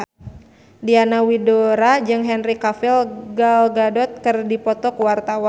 Diana Widoera jeung Henry Cavill Gal Gadot keur dipoto ku wartawan